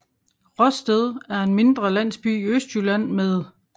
Råsted er en mindre landsby i Østjylland med